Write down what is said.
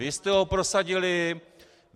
Vy jste ho prosadili.